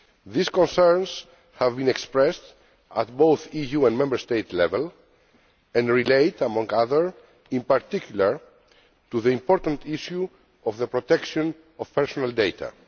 These concerns have been expressed at both EU and Member State level and relate, inter alia, in particular to the important issue of the protection of personal data.